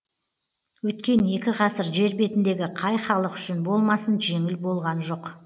өткен екі ғасыр жер бетіндегі қай халық үшін болмасын жеңіл болған жоқ